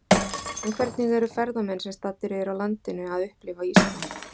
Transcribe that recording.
En hvernig eru ferðamenn sem staddir eru á landinu að upplifa Ísland?